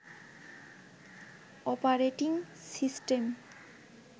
operating system